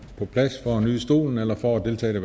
på plads for at nyde stolen eller for at deltage